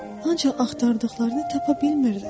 Ancaq axtardıqlarını tapa bilmirlər.